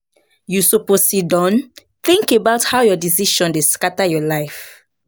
You suppose siddon tink about how your decisions dey scatter your life.